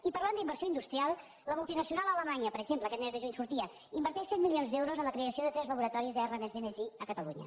i parlant d’inversió industrial la multinacional alemanya per exemple aquest mes de juny sortia inverteix cent milions d’euros en la creació de tres laboratoris de r+d+i a catalunya